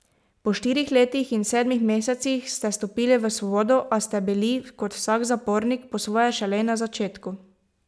Po štirih letih in sedmih mesecih ste stopili v svobodo, a ste bili, kot vsak zapornik, po svoje šele na začetku.